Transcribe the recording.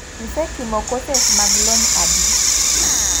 Isetimo koses mag lony adi?